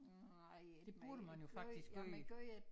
Nej men jeg gjorde men jeg gjorde